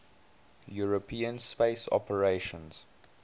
european space operations